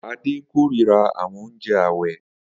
Ade kórira àwọn oúnjẹ ààwẹ̀